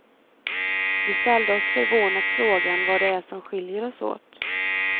Vi ställde oss förvånat frågan vad det är som skiljer oss åt.